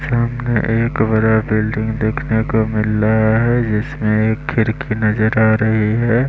सामने एक बड़ा बिल्डिंग देखने को मिल रहा है जिसमें एक खिरकी नजर आ रही है।